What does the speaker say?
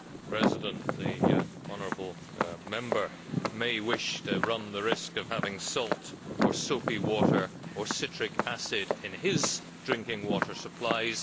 Mr President, the honourable Member may wish to run the risk of having salt, or soapy water, or citric acid in his drinking water supplies.